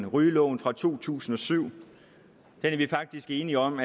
rygeloven fra to tusind og syv er vi faktisk enige om